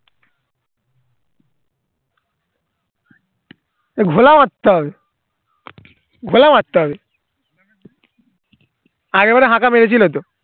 এ ঘোলা মারতে হবে ঘোলা মারতে হবে আগেরবারে মেরেছিলো তো